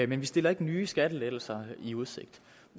vi stiller ikke nye skattelettelser i udsigt